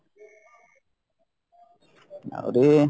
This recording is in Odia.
ଆହୁରି